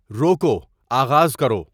روکو، آغاز کرو